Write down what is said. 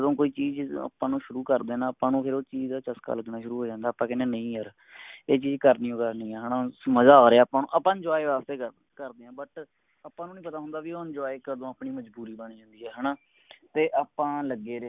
ਕੋਈ ਚੀਜ ਆਪਾਂ ਨੂੰ ਸ਼ੁਰੂ ਕਰਦੇ ਨਾ ਆਪਾ ਨੂੰ ਫੇਰ ਉਹ ਚੀਜ ਦਾ ਚਸਕਾ ਲਗਨਾ ਸ਼ੁਰੂ ਹੋ ਜਾਂਦਾ ਆਪਾਂ ਕਹਿਨੇ ਆ ਨਹੀਂ ਯਾਰ ਇਹ ਚੀਜ ਕਰਨਿਓ ਕਰਨੀ ਆ ਹੈਨਾ ਹੁਣ ਮਜਾ ਆਰਿਆ ਆਪਾ ਨੂੰ ਆਪਾਂ enjoy ਕਰਦੇ ਕਰਦੇ ਆਂ but ਆਪਾ ਨੂੰ ਨਹੀਂ ਪਤਾ ਹੁੰਦਾ ਬੀ ਉਹ enjoy ਕਦੋ ਆਪਣੀ ਮਜਬੂਰੀ ਬਣ ਜਾਂਦੀ ਆ ਹੈਨਾ